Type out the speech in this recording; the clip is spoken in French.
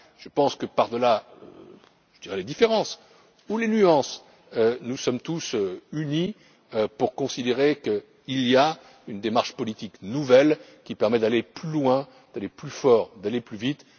travail. Je pense que par delà les différences ou les nuances, nous sommes tous d'accord pour considérer qu'il y a une démarche politique nouvelle qui permet d'aller plus loin, d'aller plus fort et d'aller plus